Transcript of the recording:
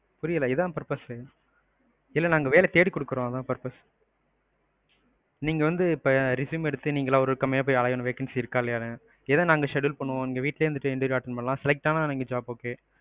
புரியல இதான் purpose. இல்ல நாங்க வேலை தேடிக்குடுக்குறோம் அதான் purpose. நீங்க வந்து இப்ப resume எடுத்து நீங்களா ஒவ்வொரு company யா போய் அலையனும் vacancy இருக்கானு. இத நாங்க schedule பண்ணுவோம். நீங்க வீட்டுலையே இருந்து interview attend பண்ணலாம். select ஆனா job okay,